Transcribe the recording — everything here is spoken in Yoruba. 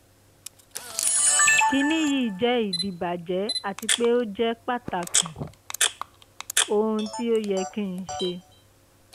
kini yi je idibajẹ ati pe o jẹ pataki? ohun ti o yẹ ki n ṣe?